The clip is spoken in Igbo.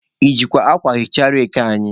I jikwa akwa hichaa reki anyị?